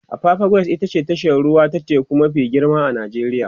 apapa quays ita ce tashar ruwa ta teku mafi girma a Najeriya